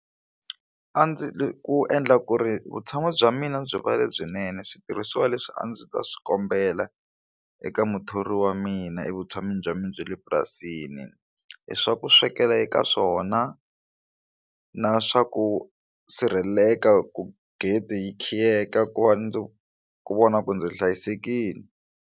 A ndzi ku endla ku ri vutshamo bya mina byi va lebyinene switirhisiwa leswi a ndzi ta swi kombela eka muthori wa mina evutshamini bya mina bya le purasini i swa ku swekela eka swona na swa ku sirheleleka ku gede yi khiyeka ku va ndzi ku vona ku ndzi hlayisekile.